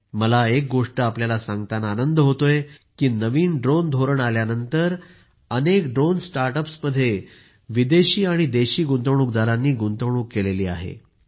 मला एक गोष्ट आपल्याला सांगताना आनंद होताय की नवीन ड्रोन धोरण आल्यानंतर अनेक ड्रोन स्टार्ट अप्समध्ये विदेशी आणि देशी गुंतवणूकदारांनी गुंतवणूक केली आहे